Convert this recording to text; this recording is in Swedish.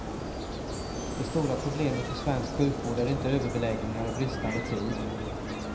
Det stora problemet i svensk sjukvård är inte överbeläggningar och bristande tid.